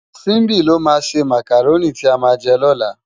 Simbi ló má sé mákáróni ti á má jè lòlá